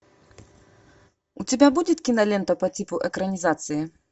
у тебя будет кинолента по типу экранизации